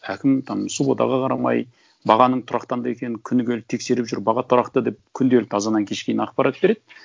әкім там субботаға қарамай бағаның тұрақтанды екенің күні келіп тексеріп жүр баға тұрақты деп күнделікті азаннан кешке дейін ақпарат береді